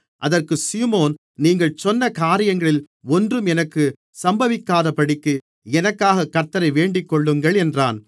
அதற்குச் சீமோன் நீங்கள் சொன்ன காரியங்களில் ஒன்றும் எனக்கு சம்பவிக்காதபடிக்கு எனக்காகக் கர்த்த்தரை வேண்டிக்கொள்ளுங்கள் என்றான்